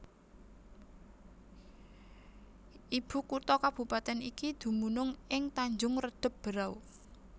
Ibu kutha kabupatèn iki dumunung ing Tanjung Redeb Berau